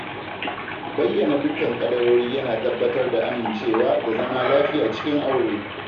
Bayyana dukkan kadarori yana tabbatar da amincewa da zama lafiya cikin aure.